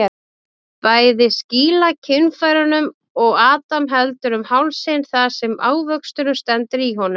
Bæði skýla kynfærunum og Adam heldur um hálsinn þar sem ávöxturinn stendur í honum.